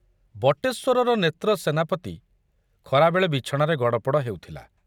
ବଟେଶ୍ବରର ନେତ୍ର ସେନାପତି ଖରାବେଳେ ବିଛଣାରେ ଗଡ଼ପଡ଼ ହେଉଥିଲା।